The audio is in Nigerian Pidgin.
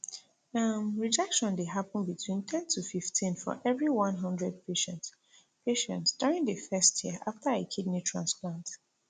um rejection dey happun between ten to fifteen for every one hundred patients patients during di first year after a kidney transplant